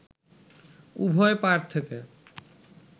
উভয় পাড় থেকে